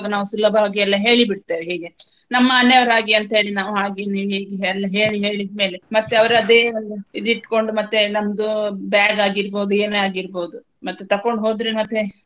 ನಾವು ಸುಲಭವಾಗಿ ಎಲ್ಲಾ ಹೇಳಿ ಬಿಡ್ತೇವೆ ಹೀಗೆ ನಮ್ಮ ಮನೆಯವ್ರ ಹಾಗೆ ಅಂತ ಹೇಳಿ ನಾವು ಹಾಗೆ ಹೀಗೆ ಎಲ್ಲ ಹೇಳಿ ಹೇಳಿದ ಮೇಲೆ ಮತ್ತೆ ಅವ್ರು ಅದೆ ಒಂದು ಇದ್ ಇಟ್ಕೊಂಡು ಮತ್ತೆ ನಮ್ದು bag ಆಗಿರ್ಬಹುದು ಏನೇ ಆಗಿರ್ಬಹುದು ಮತ್ತೆ ತಗೊಂಡು ಹೋದ್ರೆ ಮತ್ತೆ.